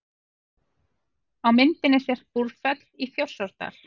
Á myndinni sést Búrfell í Þjórsárdal.